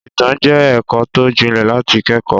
Ìtàn jẹ́ ẹ̀kọ́ tó jinlẹ̀ láti kẹ́kọ̀ọ́.